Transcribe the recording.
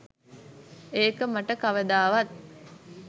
ඒක මට කවදාවත්.